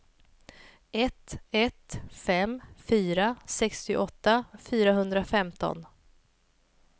ett ett fem fyra sextioåtta fyrahundrafemton